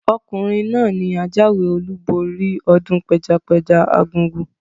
Ọkùnrin náà ni ajáwé olúborí ọdún pẹjapẹja argungu.